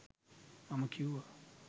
මම කිව්වා